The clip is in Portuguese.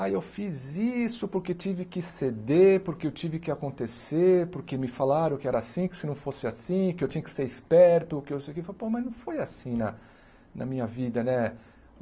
Ah, eu fiz isso porque tive que ceder, porque eu tive que acontecer, porque me falaram que era assim, que se não fosse assim, que eu tinha que ser esperto, que eu sei que foi, pô, mas não foi assim na na minha vida, né?